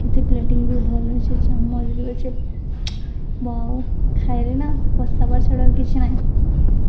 ଏଠି ପ୍ଲେଟୀଙ୍ଗ ବି ଭଲ୍ ଅଛେ ଚାମଚ୍ ବି ଅଛେ ବାଉ ଖାଇରେ ନା ପସ୍ତାବା ଛଡ଼ା ଆଉ କିଛି ନାହିଁ।